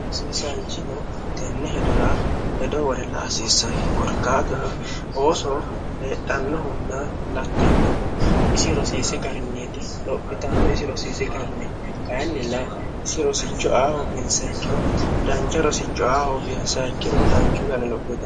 rosiisaanchino tenne hedora hedo wore la asiissanno gorkaatuno ooso heedhannohunna lattannoho isi rosiisi garneeti lophitanno isi rosiisi garne kayinnilla isi rosicho aaho binsaakkino dancha rosicho aaho biinsaakkiro danchu gani lophiono